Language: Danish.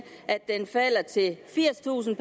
at den falder til firstusind